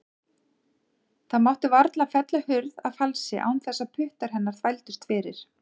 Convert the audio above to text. Það mátti varla fella hurð að falsi án þess að puttar hennar þvældust fyrir.